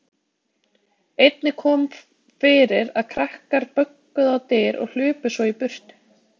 Einnig kom fyrir að krakkar bönkuðu á dyr og hlupu svo í burtu.